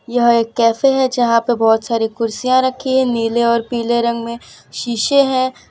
यह एक कैफे हैं जहां पर बहोत सारी कुर्सियां रखी है नीले और पीले रंग में शीशे हैं।